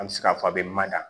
An bɛ se k'a fɔ a bɛ mada